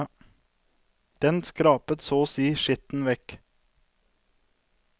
Den skrapet så å si skitten vekk.